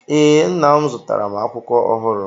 Ee, Nna m zụtara m akwụkwọ ọhụrụ.